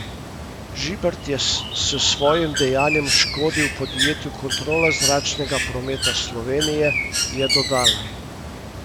Žibert je s svojim dejanjem škodil podjetju Kontrola zračnega prometa Slovenije, je dodala.